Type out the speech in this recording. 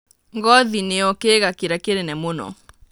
Ngothi nĩyo kĩĩga kĩrĩa kĩnene mũno.